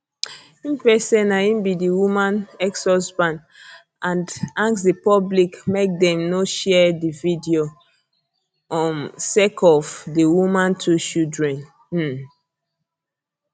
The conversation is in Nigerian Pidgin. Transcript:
im face say na im be di woman exhusband and ask di public make dem no share di video um sake of di woman two children um